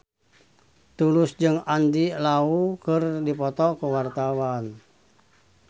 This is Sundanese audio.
Tulus jeung Andy Lau keur dipoto ku wartawan